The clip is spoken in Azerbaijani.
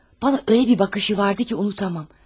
Mənə elə bir baxışı vardı ki, unuda bilmərəm.